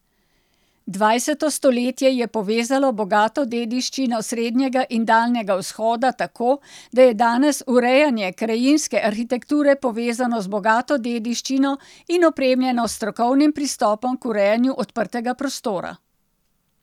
Dvajseto stoletje je povezalo bogato dediščino Srednjega in Daljnega vzhoda tako, da je danes urejanje krajinske arhitekture povezano z bogato dediščino in opremljeno s strokovnim pristopom k urejanju odprtega prostora.